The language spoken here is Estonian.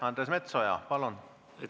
Andres Metsoja, palun!